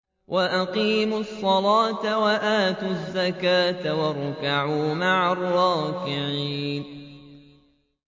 وَأَقِيمُوا الصَّلَاةَ وَآتُوا الزَّكَاةَ وَارْكَعُوا مَعَ الرَّاكِعِينَ